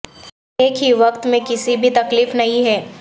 ایک ہی وقت میں کسی بھی تکلیف نہیں ہے